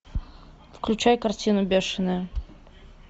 включай картину бешеные